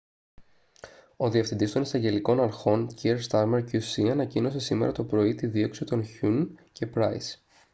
ο διευθυντής των εισαγγελικών αρχών kier starmer qc ανακοίνωσε σήμερα το πρωί τη δίωξη των huhne και pryce